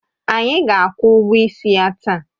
Anyị ga-akwụ ụgwọ ịsị ya taa